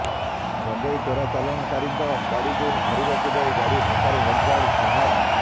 ଗଜେଂଇ ଚୋରା ଚାଲାଣକାରୀଙ୍କ ଗାଡିକୁ ଧରିବାକୁ ଯାଇ ଗାଡି ଧକ୍କାରେ ହୋମଗାର୍ଡ ଆହତ